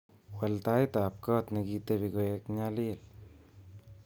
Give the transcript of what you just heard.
Wal taitab kot nekiteben koeng nyalil